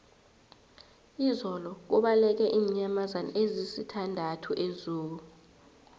izolo kubaleke iinyamazana ezisithandathu ezoo